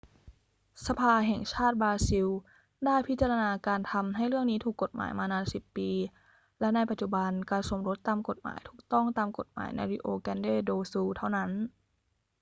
สภาแห่งชาติบราซิลได้พิจารณาการทำให้เรื่องนี้ถูกกฎหมายมานาน 10 ปี และในปัจจุบันการสมรสตามกฎหมายถูกต้องตามกฎหมายใน rio grande do sul เท่านั้น